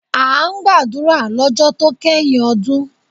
A ń gbàdúrà lọ́jọ́ to kẹ́yìn ọdún.